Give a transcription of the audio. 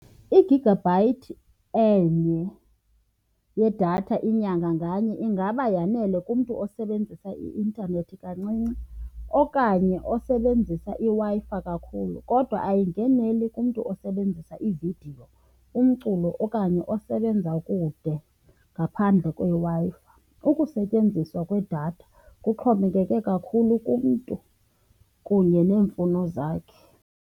Igigabhayithi enye yedatha inyanga nganye ingaba yanele kumntu osebenzisa i-intanethi kancinci okanye osebenzisa iWi-Fi kakhulu. Kodwa ayingeneli kumntu osebenzisa iividiyo, umculo okanye osebenza kude ngaphandle kweWi-Fi. Ukusetyenziswa kwedatha kuxhomekeke kakhulu kumntu kunye neemfuno zakhe.